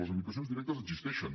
les limitacions directes existeixen